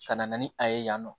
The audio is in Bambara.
Ka na ni a ye yan nɔ